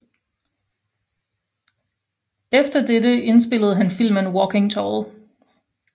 Etter det indspillede han filmen Walking Tall